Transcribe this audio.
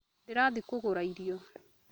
Ndĩrathiĩ kũgũra irio